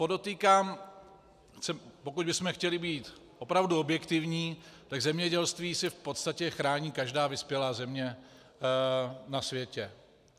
Podotýkám, pokud bychom chtěli být opravdu objektivní, tak zemědělství si v podstatě chrání každá vyspělá země na světě.